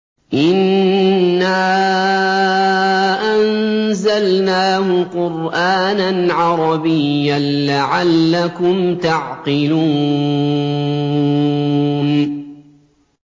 إِنَّا أَنزَلْنَاهُ قُرْآنًا عَرَبِيًّا لَّعَلَّكُمْ تَعْقِلُونَ